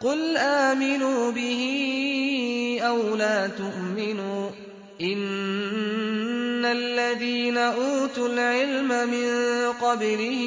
قُلْ آمِنُوا بِهِ أَوْ لَا تُؤْمِنُوا ۚ إِنَّ الَّذِينَ أُوتُوا الْعِلْمَ مِن قَبْلِهِ